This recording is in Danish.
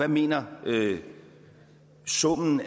mener og hvad summen